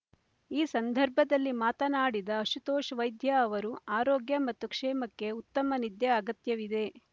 ಈ ಸಂದರ್ಭದಲ್ಲಿ ಮಾತನಾಡಿದ ಅಶುತೋಷ್ ವೈದ್ಯಾ ಅವರು ಆರೋಗ್ಯ ಮತ್ತು ಕ್ಷೇಮಕ್ಕೆ ಉತ್ತಮ ನಿದ್ಯ ಅಗತ್ಯವಿದೆ